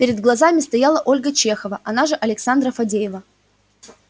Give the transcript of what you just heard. перед глазами стояла ольга чехова она же александра фадеева